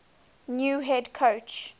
new head coach